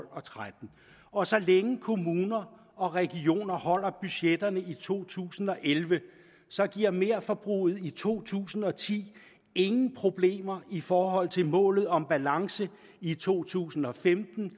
og tretten og så længe kommuner og regioner holder budgetterne i to tusind og elleve giver merforbruget i to tusind og ti ingen problemer i forhold til målet om balance i to tusind og femten